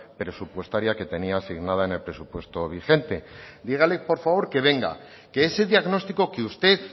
presupuestaria que tenía asignada en el presupuesto vigente dígale por favor que venga que ese diagnóstico que usted